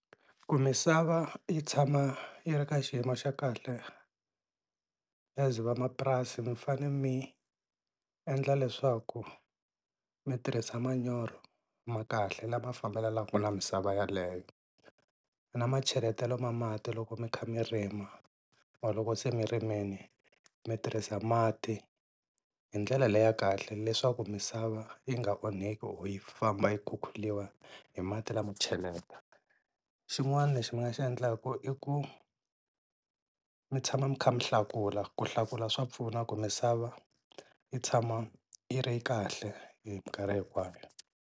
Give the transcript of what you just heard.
Ku misava yi tshama yi ri ka xiyimo xa kahle as vamapurasi mi fane mi endla leswaku mi tirhisa manyoro ma kahle lama fambelaka na misava yaleyo, na ma cheletela ma mati loko mi kha mi rima or loko se mi rimile mi tirhisa mati hindlela leyi ya kahle leswaku misava yi nga onhake o yi famba yi khukhuriwa hi mati lamo cheleta. Xin'wana lexi mi nga xi endlaka i ku mi tshama mi kha mi hlakula ku hlakula swa pfuna ku misava yi tshama yi ri kahle hi mikarhi hinkwayo.